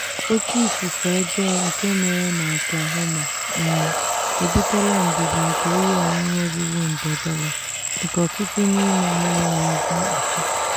oke ifufe ọjọọ nke mere na oklahoma um ebutela mbibi nke ihe onwunwe ruru nde dollar nke ọtụtụ n'ime ha enweghịdị mkpuchi.